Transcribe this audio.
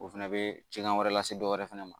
O fɛnɛ bɛ cɛn wɛrɛ lase dɔwɛrɛ fɛnɛ ma